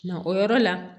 Na o yɔrɔ la